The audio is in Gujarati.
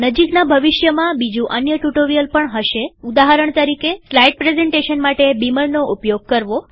નજીકના ભવિષ્યમાં બીજું અન્ય ટ્યુ્ટોરીઅલ પણ હશેઉદાહરણ તરીકેસ્લાઈડ પ્રેઝન્ટેશન માટે બીમરનો ઉપયોગ કરવો